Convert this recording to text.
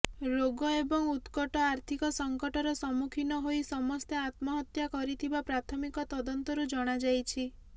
ରୋଗ ଏବଂ ଉତ୍କଟ ଆର୍ଥିକ ସଂକଟର ସମ୍ମୁଖୀନ ହୋଇ ସମସ୍ତେ ଆତ୍ମହତ୍ୟା କରିଥିବା ପ୍ରାଥମିକ ତଦନ୍ତରୁ ଜଣାଯାଇଛି